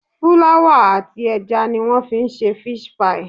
Fúláwà àti ẹja ni wọ́n fi ń ṣe fish pie